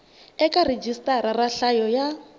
eka rhijisitara ra nhlayo ya